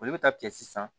Olu bɛ taa tigɛ sisan